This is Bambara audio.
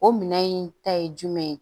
O minɛn in ta ye jumɛn ye